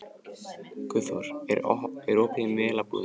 Guðþór, er opið í Melabúðinni?